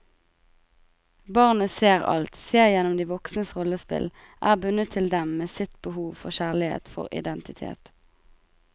Barnet ser alt, ser igjennom de voksnes rollespill, er bundet til dem med sitt behov for kjærlighet, for identitet.